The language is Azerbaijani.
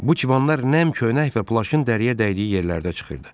Bu çibanlar nəm köynək və plaşın dəriyə dəydiyi yerlərdə çıxırdı.